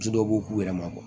Muso dɔw b'u k'u yɛrɛ ma